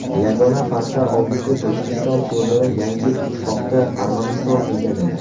Yagona farqi, oldingi Tojikiston o‘rnini yangi ittifoqda Armaniston egallagan.